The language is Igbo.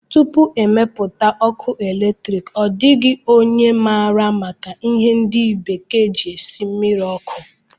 Tupu e mepụta ọkụ eletriki, ọ dịghị onye maara maka ihe ndi bekee ji esi mmiri ọkụ